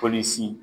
Polisi